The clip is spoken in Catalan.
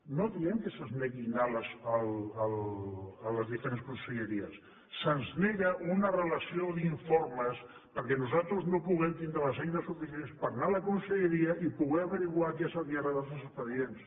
no diem que se’ns negui anar a les diferents conselleries se’ns nega una relació d’informes perquè nosaltres no puguem tindre les eines suficients per anar a la conselleria i poder esbrinar què és el que hi ha darrere dels expedients